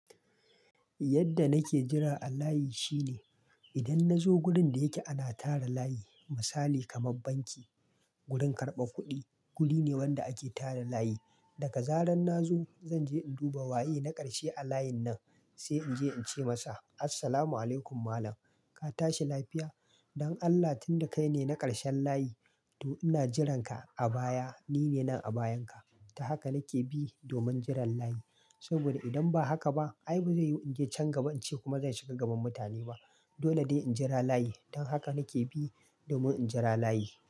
Yadda nake jira a layi shi ne, idan nazo wurin da yake ana tara layi, misali kamar banki, wurin karɓar kuɗi, guri ne wanda ake tara layi. Daga zaran na zo, zan je in duba waye na ƙarshe a layin nan, sai in je in ce masa "Assalamu alaikum malam, ka tashi lafiya? Don Allah tunda kai ne na ƙarshen layi to ina jiran ka a baya. Ni ne nan a bayanka." ta haka nake bi domin jiran layi. Saboda idan ba haka ba, ai bazai yiwu in je can gaba in ce kuma zan shiga gaban mutane ba. Dole dai in jira layi. Don haka nake bi domin in jira layi.